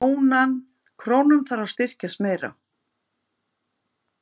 Krónan þarf að styrkjast meira